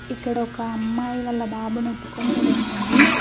ఇక్కడ ఒక అమ్మాయి వాళ్ల బాబుని ఎత్తుకొని నిలుచుంది.